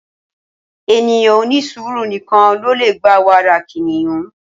Ènìyàn onisuuru nìkàn lo le gbà wàrà kiniyun